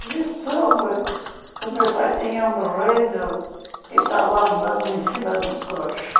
E eu soube que o meu pai tinha morrido e estava lá andando em cima do croche.